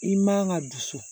I man ka dusu